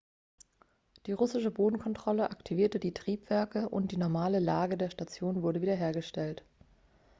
die russische bodenkontrolle aktivierte die triebwerke und die normale lage der station wurde wiederhergestellt